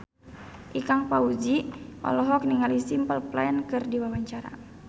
Ikang Fawzi olohok ningali Simple Plan keur diwawancara